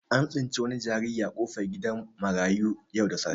An tsinci wani jinjiri a kofar gidan marayu yau da safe.